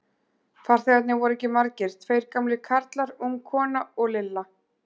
Farþegarnir voru ekki margir, tveir gamlir karlar, ung kona og Lilla.